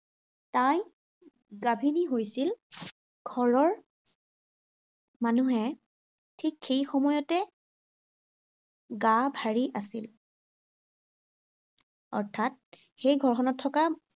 তাই, গাভিনী হৈছিল। ঘৰৰ মানুহে ঠিক সেই সময়তে গা-ভাৰী আছিল। অৰ্থাৎ সেই ঘৰখনত থকা